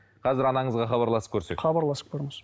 қазір анаңызға хабарласып көрсек хабарласып көріңіз